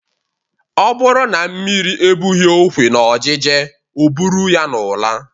Ọ bụrụ na mmiri ebughị okwe n'ojije o buru ya n'ụla.